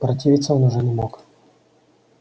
противиться он уже не мог